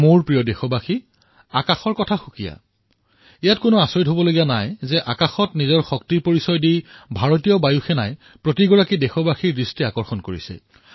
মোৰ মৰমৰ দেশবাসীসকল আকাশৰ কথা শুনিবলৈ শুৱলা ইয়াত কোনো সন্দেহ নাই যে আকাশত নিজক শক্তিৰ পৰিচয় দি ভাৰতীয় বায়ুসেনাই দেশবাসীৰ মনোযোগ আকৰ্ষণ কৰিবলৈ সক্ষম হৈছে